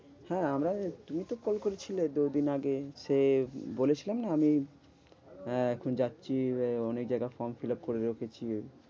হ্যাঁ আমরা, তুমি তো call করেছিলে দু দিন আগে। সে বলেছিলাম না আমি আহ এখন যাচ্ছি ওই অনেক জায়গায় from fill up করে রেখেছি,